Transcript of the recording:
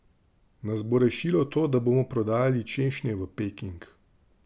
Nas bo rešilo to, da bomo prodajali češnje v Peking?